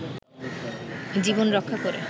জীবন রক্ষা করে